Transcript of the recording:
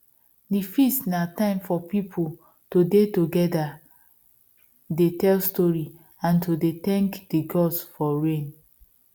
the feast na time for people to dey together dey tell story and to dey thank the gods for rain